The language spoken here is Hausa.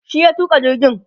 shi ya tuka jirgin